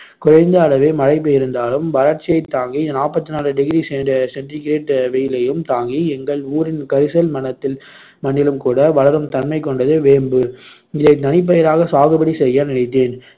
குறைந்த அளவே மழை பெய்து இருந்தாலும் வறட்சியைத் தாங்கி நாப்பத்து நாலு degree cent~ centigrade வெயிலையும் தாங்கி எங்கள் ஊரின் கரிசல் மணத்தில்~ மண்ணிலும் கூட வளரும் தன்மை கொண்டது வேம்பு இதைத் தனிப்பயிராக சாகுபடி செய்ய நினைத்தேன்